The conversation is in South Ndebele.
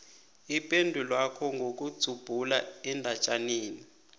ipendulwakho ngokudzubhula endatjaneni